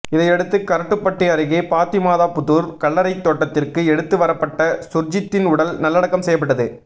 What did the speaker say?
இதையடுத்து கரட்டுப்பட்டி அருகே பாத்திமாபுதூர் கல்லறைத் தோட்டத்திற்கு எடுத்து வரப்பட்ட சுர்ஜித்தின் உடல் நல்லடக்கம் செய்யப்பட்டது